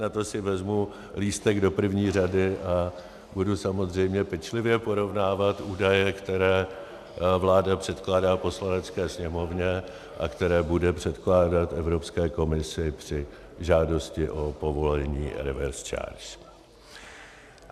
Na to si vezmu lístek do první řady a budu samozřejmě pečlivě porovnávat údaje, které vláda předkládá Poslanecké sněmovně a které bude předkládat Evropské komisi při žádosti o povolení reverse charge.